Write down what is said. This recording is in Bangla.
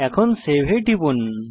এখন সেভ এ টিপুন